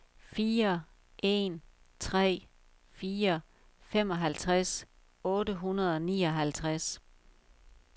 fire en tre fire femoghalvtreds otte hundrede og nioghalvtreds